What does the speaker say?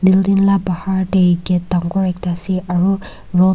building la bahar de gate dangor ekta ase aro road .